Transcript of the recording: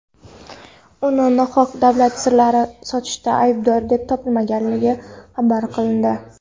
uni nohaq davlat sirlarini sotishda aybdor deb topilgani xabar qilindi.